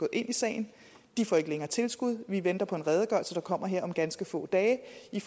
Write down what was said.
ind i sagen de får ikke længere tilskud og vi venter på en redegørelse der kommer her om ganske få dage